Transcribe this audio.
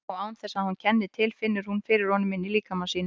Og án þess að hún kenni til finnur hún fyrir honum inní líkama sínum.